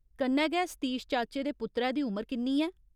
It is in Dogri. कन्नै गै सतीश चाचे दे पुत्तरै दी उमर किन्नी ऐ ?